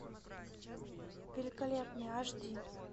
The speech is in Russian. великолепный аш ди